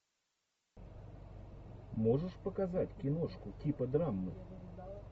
можешь показать киношку типа драмы